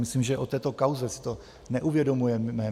Myslím, že o této kauze si to neuvědomujeme.